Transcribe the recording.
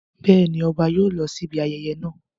Bẹ́ẹ̀ ni, ọba yóò lọ síbi ayẹyẹ náà.